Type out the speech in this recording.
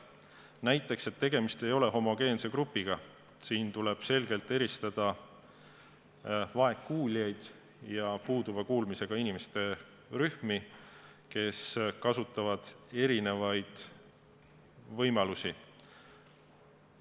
Näiteks, tegemist ei ole homogeense grupiga, tuleb selgelt eristada vaegkuuljaid ja puuduva kuulmisega inimesi, kes kasutavad erinevaid võimalusi.